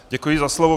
Děkuji za slovo.